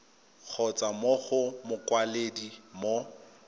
kgotsa mo go mokwaledi mo